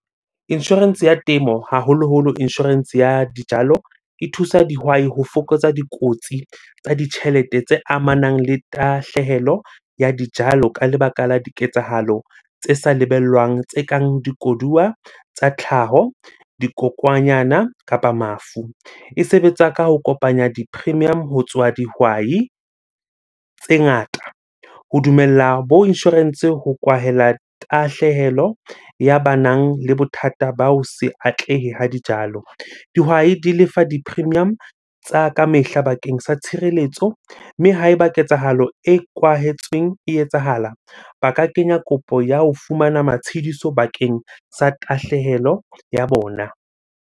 Insurance ya temo, haholoholo insurance ya dijalo. E thusa dihwai ho fokotsa dikotsi tsa ditjhelete tse amanang le tahlehelo ya dijalo ka lebaka la diketsahalo tse sa lebellwang. Tse kang di koduwa tsa tlhaho, dikokwanyana kapa mafu. E sebetsa ka ho kopanya di-premium ho tswa dihwai tse ngata. Ho dumella bo insurance ho kwahela tahlehelo ya banang le bothata ba ho se atlehe ha dijalo. Dihwai di lefa di-premium tsa ka mehla bakeng sa tshireletso. Mme ha eba ketsahalo e kwahetsweng e etsahala, ba ka kenya kopo ya ho fumana matshidiso bakeng sa tahlehelo ya bona.